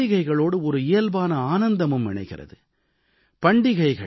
கூடவே பண்டிகைகளோடு ஒரு இயல்பான ஆனந்தமும் இணைகிறது